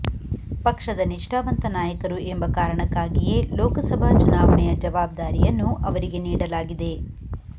ಪಕ್ಷದ ನಿಷ್ಠಾವಂತ ನಾಯಕರು ಎಂಬ ಕಾರಣಕ್ಕಾಗಿಯೇ ಲೋಕಸಭಾ ಚುನಾವಣೆಯ ಜವಾಬ್ದಾರಿಯನ್ನೂ ಅವರಿಗೆ ನೀಡಲಾಗಿದೆ